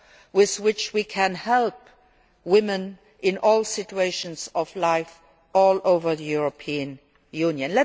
with which we can help women in all situations of life all over the European Union.